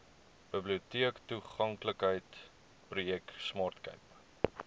biblioteektoeganklikheidsprojek smart cape